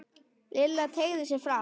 Lilla teygði sig fram.